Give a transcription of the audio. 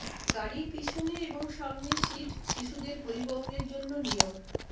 গাড়ির পিছনে এবং সামনে সীট শিশুদের পরিবহনের জন্য নিয়ম